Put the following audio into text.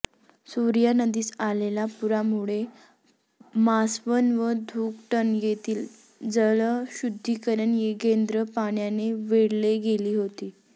सूर्या नदीस आलेल्या पुरामुळे मासवण व धुकटन येथील जलशुद्धीकरण केंद्रे पाण्याने वेढली गेली होती